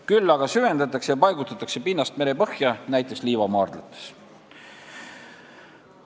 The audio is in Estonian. Küll aga süvendatakse ja paigutatakse pinnast merepõhja, näiteks liivamaardlates.